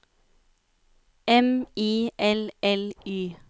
M I L L Y